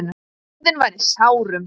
Þjóðin var í sárum.